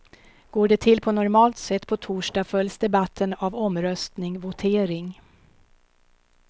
Går det till på normalt sätt på torsdag följs debatten av omröstning, votering.